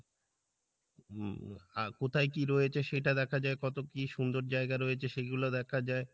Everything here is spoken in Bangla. উম কোথায় কি রয়েছে সেটা দেখা যাই কত কি সুন্দর জায়গা রয়েছে সেগুলো দেখা যাই